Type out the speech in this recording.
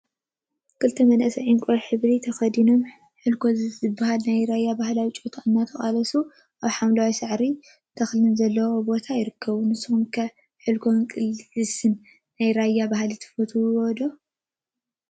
ክልተ መናእሰይ ዕንቋይ ሕብሪ ተከዲኖም ሕልኮ ዝበሃል ናይ ራያ ባህላዊ ጨወታ እናተቃለሱ አብ ሓምላዋይ ሳዕሪን ተክሊን ዘለዎ ቦታ ይርከቡ፡፡ ንስኩም ኸ ሕልኮ ቃልሲናይ ራያ ባህሊ ትፈትው ዶ?